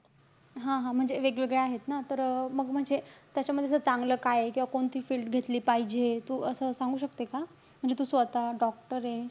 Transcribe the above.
हा-हा म्हणजे वेगवेगळ्या आहेत ना. तर, अं मग म्हणजे, त्याचामध्ये जर चांगलं काये किंवा कोणती field घेतली पाहिजे? हे तू असं सांगू शकते का? म्हणजे तू स्वतः doctor ए.